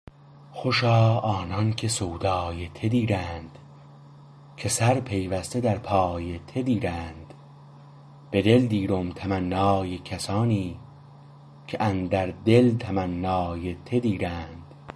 خوشا آنان که سودای ته دیرند که سر پیوسته در پای ته دیرند به دل دیرم تمنای کسانی که اندر دل تمنای ته دیرند